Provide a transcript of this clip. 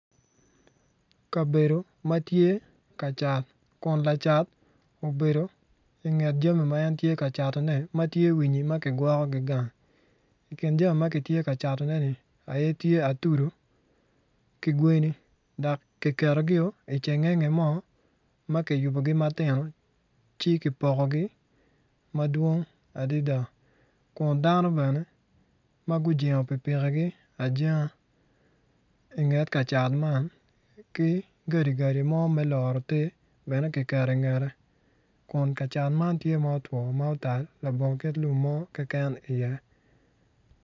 Kabedo ma tye ka k=cat kun lacat obedo i nget jami ma kitye kacatone ma tye winyi ma kigwoko gang i kin jami ma kitye ka catoneni tye atudu ki gweni dok kiketogi i cingenge mo ma kiyubogi matino ci kipokogi madong adada kun dano bene ma gujengo pikipikigi ajenga i nge kacat man ki gadi gadi mo me loto te bene kiketo i ngete kun kacat man tye ma otwo ma otal dok lum mo keken pe tye iye.